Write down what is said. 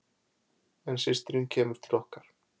En systirin kemur til okkar.